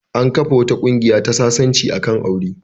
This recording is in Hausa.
An kafa wata ƙungiya ta sasanci a kan aure.